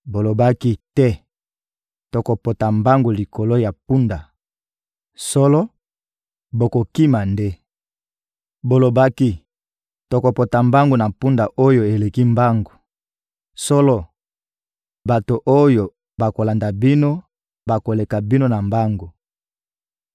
Bolobaki: ‹Te, tokopota mbangu likolo ya mpunda;› solo, bokokima nde! Bolobaki: ‹Tokopota mbangu na mpunda oyo eleki mbangu;› solo, bato oyo bakolanda bino bakoleka bino na mbangu!